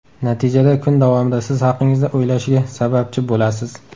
Natijada, kun davomida siz haqingizda o‘ylashiga sababchi bo‘lasiz.